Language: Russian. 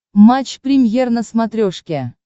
матч премьер на смотрешке